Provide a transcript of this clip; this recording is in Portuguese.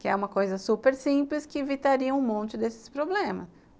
Que é uma coisa super simples que evitaria um monte desses problemas.